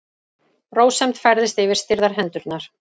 Rósemd færist yfir stirðar hendurnar.